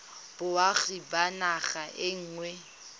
boagi ba naga e nngwe